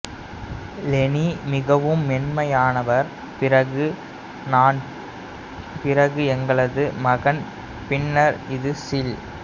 Leni மிகவும் மென்மையானவர் பிறகு நான் பிறகு எங்களது மகன் பின்னர் இது சீல்